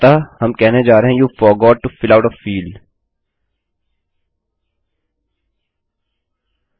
अतः हम कहने जा रहे हैं you forgot to fill out a fieldआप फील्ड का भरना भूल गए हैं